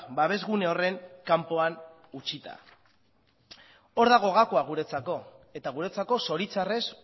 babesgune horren kanpoan utzita hor dago gakoa guretzako eta guretzako zoritxarrez